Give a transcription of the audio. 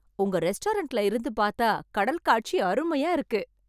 உங்க ரெஸ்டாரெண்ட்ல இருந்து பார்த்தா கடல் காட்சி அருமையா இருக்கு.